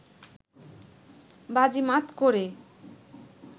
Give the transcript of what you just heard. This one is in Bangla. বাজিমাত করে